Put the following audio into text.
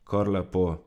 Kar lepo.